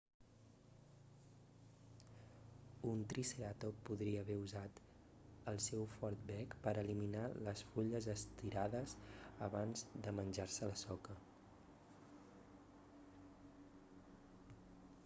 un triceratop podria haver usat el seu fort bec per a eliminar les fulles a estirades abans de menjar-se la soca